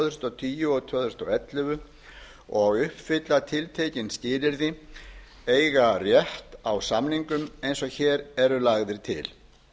þúsund og tíu tvö þúsund og ellefu og uppfylla tiltekin skilyrði eiga rétt á samningum eins og hér eru lagðir til